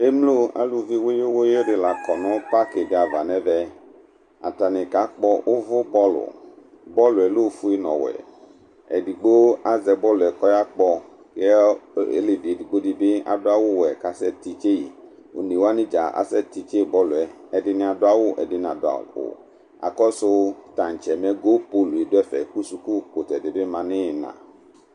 Emlo aluvi wuyu wuyu di l'akɔ nu pak di ava n'ɛvɛAtani kakpɔ uʋu bɔlu, bɔluɛ l'ofue n'ɔwuɛ Edigbo azɛ bɔluɛ k'ɔya kpɔ Ɔlevi edigbo dibi adu awu wɛ k'asɛ ti tse yi, one wani dza asɛ ti tse bɔluɛ Ɛdini adu awu ɛdini nadu awu Akɔsu tatsɛ mɛ gol pol du ɛfɛ ku suku kutɛ di bi ma nu ina